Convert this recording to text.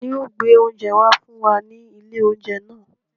Ta ni yóò gbé oúnjẹ wá fún wa ní ilé-oúnjẹ náà?